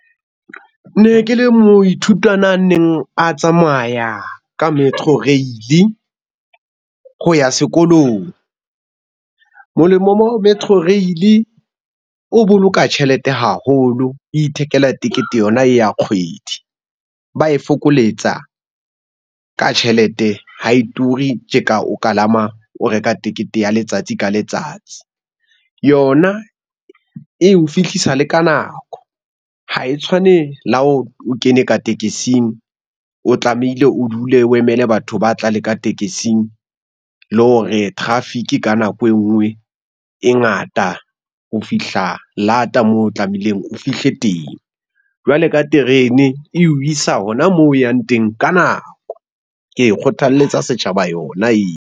Ne ke le moithutwana a neng a tsamaya ka Metro Rail-e ho ya sekolong. Molemo mo ho Metro Rail-e, o boloka tjhelete haholo o ithekela tekete yona e ya kgwedi ba e fokoletsa ka tjhelete. Ha e ture tje ka o kalama o reka tekete ya letsatsi ka letsatsi. Yona e o fihlisa le ka nako ha e tshwane le ha o kene ka tekesing, o tlamehile o dule o emele batho ba tla le ka tekesing le hore traffic ka nako e nngwe e ngata ho fihla lata moo tlamehileng o fihle teng, jwale ka terene e o isa hona moo o yang teng ka nako. Ke e kgothalletsa setjhaba yona eo.